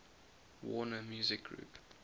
warner music group